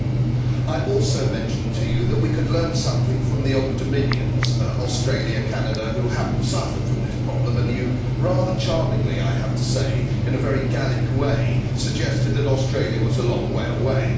Commissioner, I also mentioned to you that we could learn something from the old dominions Australia, Canada who have not suffered from this problem, and you rather charmingly, and in a very Gallic way, suggested that Australia was a long way away.